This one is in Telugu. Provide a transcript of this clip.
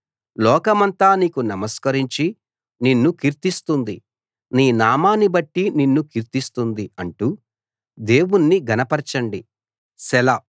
లోకమంతా నీకు నమస్కరించి నిన్ను కీర్తిస్తుంది నీ నామాన్నిబట్టి నిన్ను కీర్తిస్తుంది అంటూ దేవుణ్ణి ఘనపరచండి సెలా